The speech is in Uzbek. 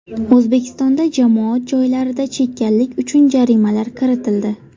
O‘zbekistonda jamoat joylarida chekkanlik uchun jarimalar kiritildi.